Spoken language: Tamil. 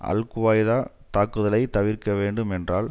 அல் குவைடாத் தாக்குதலை தவிர்க்க வேண்டும் என்றால்